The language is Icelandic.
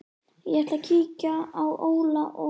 Ég ætla að kíkja á Óla og